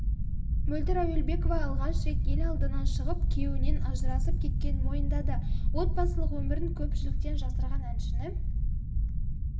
мөлдір әуелбекова алғаш рет ел алдына шығып күйеуінен ажырасып кеткенін мойындады отбасылық өмірін көпшіліктен жасырған әншіні